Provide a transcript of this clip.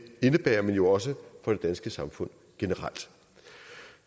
indebærer men også for det danske samfund generelt